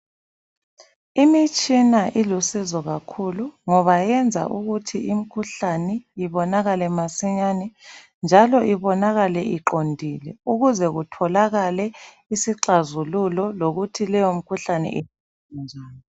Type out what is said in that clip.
Imitshina ilusizo kakhulu, ngoba yenza ukuthi imikhuhlane ibonakale masinyane njalo ibonakale iqondile ukuze kutholakale isixazululo, lokuthi leyo mikhuhlane yelatshwa njani